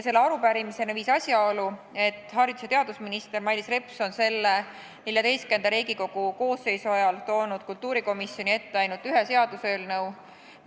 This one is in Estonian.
Selle arupärimiseni viis asjaolu, et haridus- ja teadusminister Mailis Reps on Riigikogu XIV koosseisu ajal toonud kultuurikomisjoni ette ainult ühe seaduseelnõu.